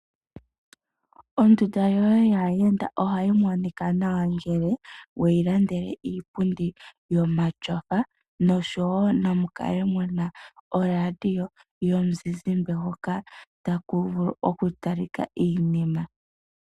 Ondunda yoye yaayenda ohayi monika nawa ngele weyi landele iipundi yomatyofa noshowo namu kale muna orandio yomuzizimbe hoka taku vulu oku talika iinima.